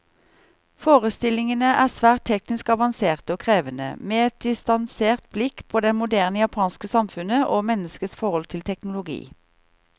Forestillingene er svært teknisk avanserte og krevende, med et distansert blikk på det moderne japanske samfunnet, og menneskets forhold til teknologi.